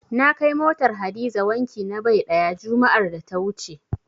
Na kai motar Hadiza wanki na bai ɗaya, juma'ar da ta wuce.